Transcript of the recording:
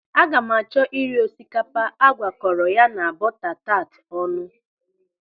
Aga m achọ iri osikapa a gwakọrọ ya na buta taat ọnụ.